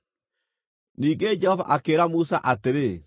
Ningĩ Jehova akĩĩra Musa atĩrĩ,